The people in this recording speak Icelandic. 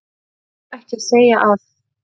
Ég var ekki að segja að.